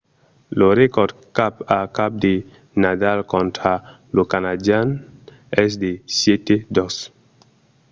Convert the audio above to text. lo recòrd cap a cap de nadal contra lo canadian es de 7–2